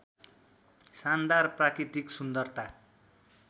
शानदार प्राकृतिक सुन्दरता